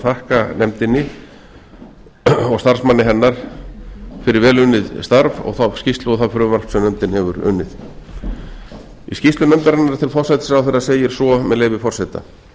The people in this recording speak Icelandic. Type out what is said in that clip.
þakka nefndinni og starfsmanni hennar fyrir vel unnið starf og þá skýrslu og það frumvarp sem nefndin hefur unnið í skýrslu nefndarinnar til forsætisráðherra segir svo með leyfi forseta